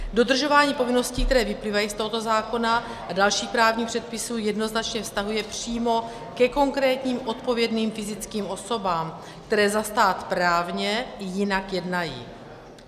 Dodržování povinností, které vyplývají z tohoto zákona a dalších právních předpisů, jednoznačně vztahuje přímo ke konkrétním odpovědným fyzickým osobám, které za stát právně jinak jednají.